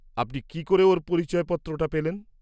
-আপনি কী করে ওঁর পরিচয়পত্রটা পেলেন?